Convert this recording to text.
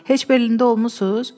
Heç Berlində olmusunuz?